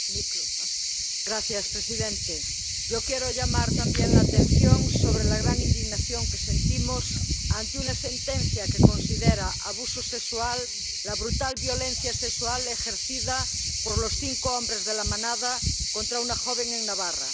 Señor presidente, yo quiero llamar también la atención sobre la gran indignación que sentimos ante una sentencia que considera abuso sexual la brutal violencia sexual ejercida por los cinco hombres de La Manada contra una joven en Navarra.